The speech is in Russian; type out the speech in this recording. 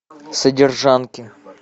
содержанки